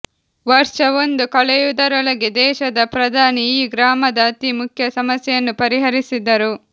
ವರ್ಷ ಒಂದು ಕಳೆಯುವುದರೊಳಗೆ ದೇಶದ ಪ್ರಧಾನಿ ಈ ಗ್ರಾಮದ ಅತೀ ಮುಖ್ಯ ಸಮಸ್ಯೆಯನ್ನು ಪರಿಹರಿಸಿದರು